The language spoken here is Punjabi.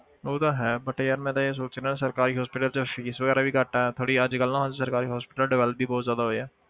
ਉਹ ਤਾਂ ਹੈ but ਯਾਰ ਮੈਂ ਤਾਂ ਇਹ ਸੋਚ ਰਿਹਾਂ ਸਰਕਾਰੀ hospital 'ਚ fees ਵਗ਼ੈਰਾ ਵੀ ਘੱਟ ਹੈ ਥੋੜ੍ਹੀ ਅੱਜ ਕੱਲ੍ਹ ਨਾ ਸਰਕਾਰੀ hospital develop ਵੀ ਬਹੁਤ ਜ਼ਿਆਦਾ ਹੋਏ ਆ।